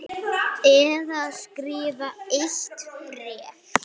Svenni hóf upp exina.